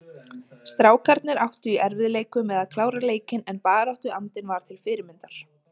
Strákarnir áttu í erfiðleikum með að klára leikinn en baráttuandinn var til fyrirmyndar.